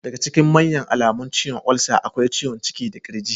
Daga ciikin manya alamun ciwon olsa akwai ciwon ciki da kirji.